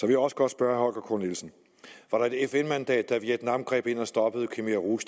jeg også godt spørge herre k nielsen var der et fn mandat da vietnam greb ind og stoppede khmer rouge